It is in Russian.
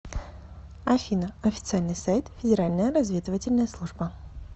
афина официальный сайт федеральная разведывательная служба